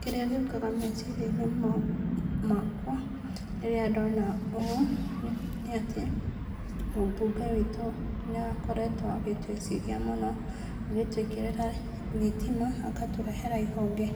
Kĩrĩa gĩũkaga meciria-inĩ makwa rĩrĩa ndona ũũ, nĩ atĩ mũmbunge wĩtũ nĩ akoretwo agĩtwĩciria mũno na gũtwĩkĩrĩra thitima, agatũrehera ihonge